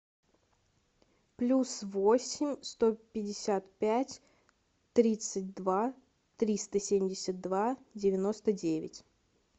плюс восемь сто пятьдесят пять тридцать два триста семьдесят два девяносто девять